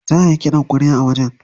Za ayi ƙidan ƙwarya a wajen.